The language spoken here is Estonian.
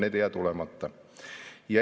Need ei jää tulemata.